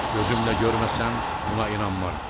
Gözümlə görməsəm buna inanmaram.